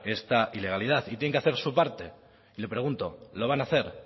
esta ilegalidad y tienen que hacer su parte y le pregunto lo van a hacer